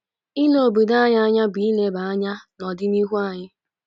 “Ile obodo anyị anya bụ ileba anya n’ọdịnihu anyị."